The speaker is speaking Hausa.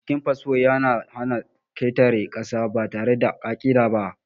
Binciken fasfo ya na hana ƙetare ƙasa ba tare da ƙa'ida ba.